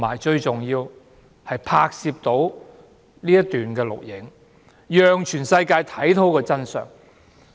最重要的是，他拍攝了一些片段，讓全世界看到真相。